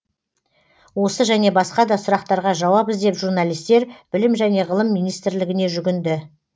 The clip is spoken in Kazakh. осы және басқа да сұрақтарға жауап іздеп журналистер білім және ғылым министрлігіне жүгінді